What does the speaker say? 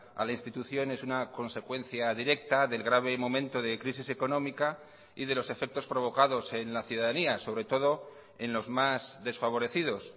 a la institución es una consecuencia directa del grave momento de crisis económica y de los efectos provocados en la ciudadanía sobre todo en los más desfavorecidos